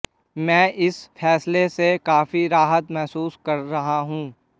मैं इस फैसले से काफी राहत महसूस कर रहा हूं